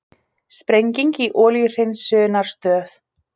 Sprenging í olíuhreinsunarstöð